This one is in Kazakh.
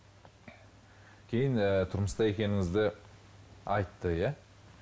кейін ы тұрмыста екеніңізді айтты иә